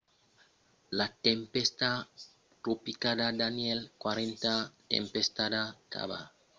la tempèsta tropicala danielle quatrena tempèsta batejada de la sason dels auragans atlantics de 2010 s’es formada dins la partida orientala de l’ocean atlantic